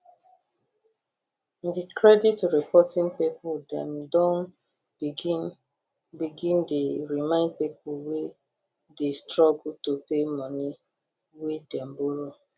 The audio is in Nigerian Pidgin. di credit reporting people dem don begin begin dey remind people wey dey struggle to pay money wey dem borrow